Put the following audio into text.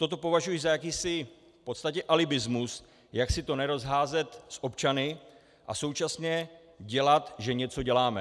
Toto považuji za jakýsi v podstatě alibismus, jak si to nerozházet s občany a současně dělat, že něco děláme.